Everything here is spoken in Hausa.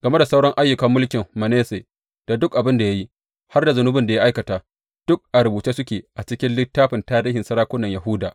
Game da sauran ayyukan mulkin Manasse, da duk abin da ya yi, har da zunubin da ya aikata, duk a rubuce suke a cikin littafin tarihin sarakunan Yahuda.